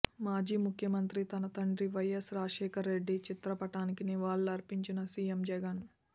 మాజీ ముఖ్యమంత్రి తన తండ్రి వైయస్ రాజశేఖర్ రెడ్డి చిత్రపటానికి నివాళులు అర్పించిన సీఎం జగన్